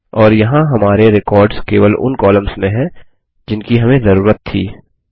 और यहाँ हमारे रेकॉर्ड्स केवल उन कॉलम्स में हैं जिनकी हमें जरूरत थी